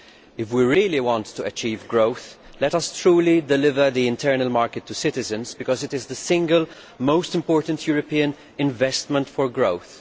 If we really want to achieve growth, let us truly deliver the internal market to citizens, because it is the single most important European investment for growth.